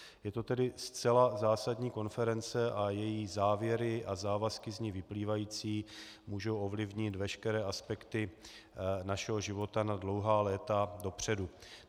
Je to tedy zcela zásadní konference a její závěry a závazky z ní vyplývající můžou ovlivnit veškeré aspekty našeho života na dlouhá léta dopředu.